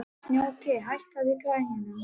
Snjóki, hækkaðu í græjunum.